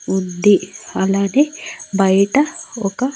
వుది అలాగే బయట ఒక--